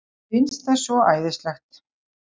Finnst það svo æðislegt.